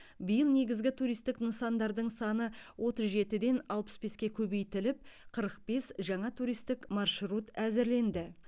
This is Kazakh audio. биыл негізгі туристік нысандардың саны отыз жетіден алпыс беске көбейтіліп қырық бес жаңа туристік маршрут әзірленді